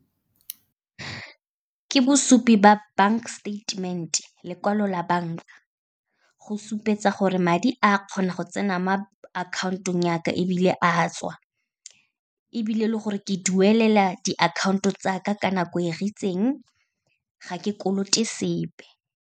Ke bosupi ba bank statement-e, lekwalo la banka, go supetsa gore madi a kgona go tsena mo akhaontong ya ka, ebile a a tswa, ebile le gore ke duelela diakhaonto tsa ka ka nako e e , ga ke kolote sepe.